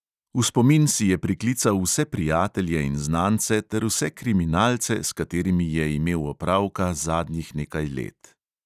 V spomin si je priklical vse prijatelje in znance ter vse kriminalce, s katerimi je imel opravka zadnjih nekaj let.